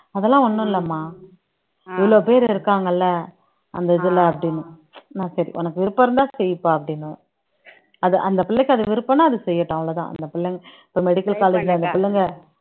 அதெல்லாம் ஒண்ணும் இல்லம்மா இவ்வளவு பேர் இருக்காங்கல்ல அந்த இதுல அப்படின்னு நான் சரி உனக்கு விருப்பம் இருந்தா செய்ப்பா அப்படின்னுவேன் அது அந்த பிள்ளைக்கு அது விருப்பம்ன்னா அது செய்யட்டும் அவ்வளவுதான் அந்த பிள்ளை இப்ப medical college ல அந்த பிள்ளைங்க